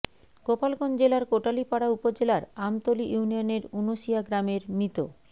গোপালগঞ্জ জেলার কোটালীপাড়া উপজেলার আমতলী ইউনিয়নের উনশিয়া গ্রামের মৃত